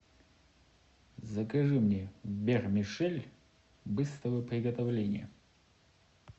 закажи мне вермишель быстрого приготовления